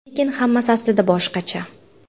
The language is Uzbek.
Lekin hammasi aslida boshqacha.